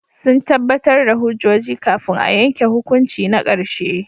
Sun tabbatar da hujjoji kafin a yanke hukunci na karshe.